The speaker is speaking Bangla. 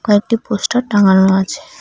ও একটি পোস্টার টাঙানো আছে।